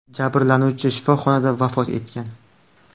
Jabrlanuvchi shifoxonada vafot etgan.